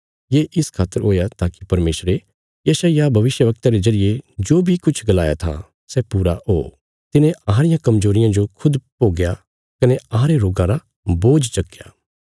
ये इस खातर हुया ताकि परमेशरे यशायाह भविष्यवक्ता रे जरिये जो बी किछ गलाया था सै पूरा ओ तिने अहां रियां कमजोरियां जो खुद भोग्या कने अहांरे रोगां रा बोझ चक्कया